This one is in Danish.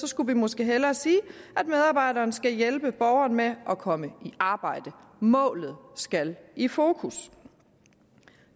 skulle man måske hellere sige at medarbejderen skal hjælpe borgeren med at komme i arbejde målet skal i fokus